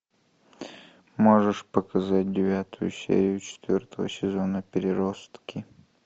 можешь показать девятую серию четвертого сезона переростки